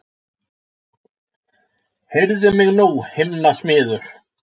Heyrðu mig nú himnasmiður!